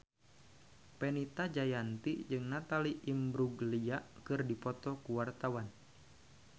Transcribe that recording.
Fenita Jayanti jeung Natalie Imbruglia keur dipoto ku wartawan